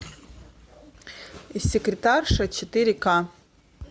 секретарша четыре ка